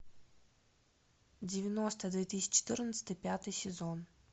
девяносто две тысячи четырнадцатый пятый сезон